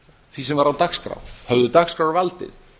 því sem var á dagskrá höfðu dagskrárvaldið